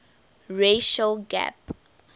racial gap